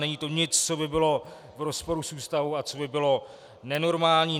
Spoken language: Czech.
Není to nic, co by bylo v rozporu s Ústavou a co by bylo nenormální.